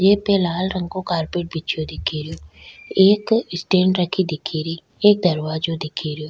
ये पे लाल रंग को कार्पेट बिछयो दिखे रो एक स्टेण्ड रखी दिखे री एक दरवाजो दिखे रो।